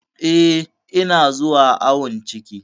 Eh, ina zuwa awon ciki.